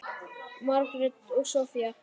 Margrét og Soffía.